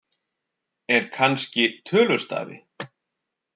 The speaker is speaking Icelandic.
En kannski tölustafi.